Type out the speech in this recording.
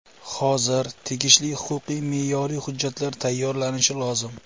Hozir tegishli huquqiy-me’yoriy hujjatlar tayyorlanishi lozim.